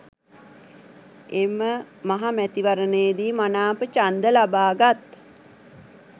එම මහ මැතිවරණයේදි මනාප ඡන්ද ලබාගත්